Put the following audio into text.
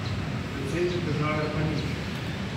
Predsednik države pa nič.